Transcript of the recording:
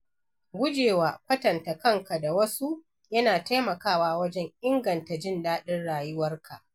Gujewa kwatanta kanka da wasu yana taimakawa wajen inganta jin daɗin rayuwarka.